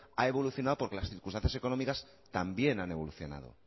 ha evolucionado porque las circunstancias económicas también han evolucionado